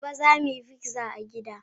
Gobe, za mu yi pizza a gida.